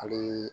Hali